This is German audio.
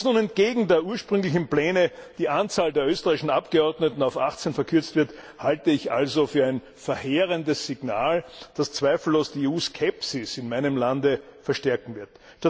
Dass nun entgegen den ursprünglichen Plänen die Anzahl der österreichischen Abgeordneten auf 18 gekürzt wird, halte ich also für ein verheerendes Signal, das zweifellos die EU Skepsis in meinem Lande verstärken wird.